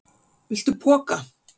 Viltu poka?